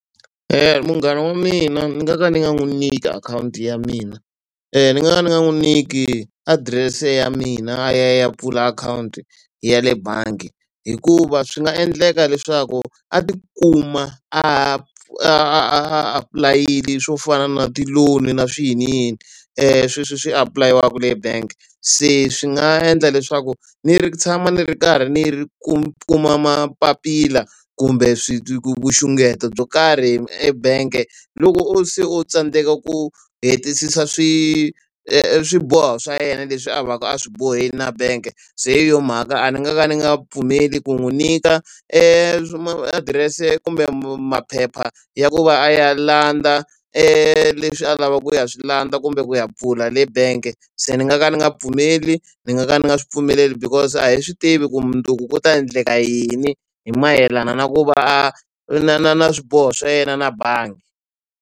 Munghana wa mina ni nga ka ndzi nga n'wi nyiki akhawunti ya mina, ni nga ka ndzi nga n'wi nyiki adirese ya mina a ya a ya pfula akhawunti ya le bangi. Hikuva swi nga endleka leswaku a tikuma a a apulayela swo fana na ti-loan na swiyiniyini, sweswi swi apulayiwaka e-bank. Se swi nga endla leswaku ni ri tshama ni ri karhi ni ri kuma mapapila kumbe swi nxungeto byo karhi ebangi loko se o tsandzeka ku hetisisa swiboho swa yena leswi a va ka a swi bohile na bank-e. Se hi yona mhaka a ndzi nga ka ni nga pfumeli ku n'wi nyika adirese kumbe maphepha ya ku va a ya landza leswi a lavaka ku ya swi landza kumbe ku ya pfula le bank-e. Se ni nga ka ni nga pfumeli, ni nga ka ni nga swi pfumeleli, because a hi swi tivi ku mundzuku ku ta endleka yini, hi mayelana na ku va a na na na swiboho swa yena na bangi.